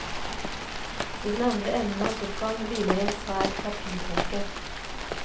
I den andre enden av sofaen hviler en svær papirbunke.